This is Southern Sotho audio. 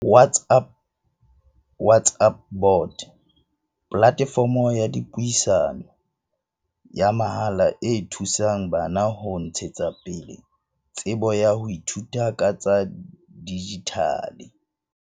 WhatsApp bot, platefomo ya dipuisano, ya mahala e thusang bana ho ntshetsa pele tsebo ya ho ithuta ka tsa dijithale.